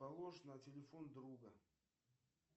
положь на телефон друга